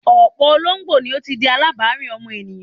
Ọ̀pọ̀ ológbò ni ó ti di alábàárìn ọmọ ènìyàn.